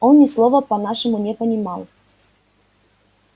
он ни слова по-нашему не понимал